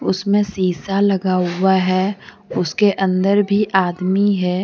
उसमें सीसा लगा हुआ है। उसके अंदर भी आदमी है।